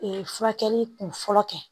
furakɛli kun fɔlɔ kɛ